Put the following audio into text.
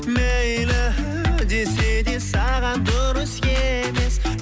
мейлі десе де саған дұрыс емес